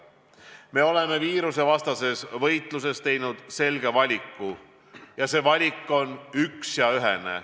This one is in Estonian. Me oleme viirusevastases võitluses teinud selge valiku ning see valik on üks ja ühene.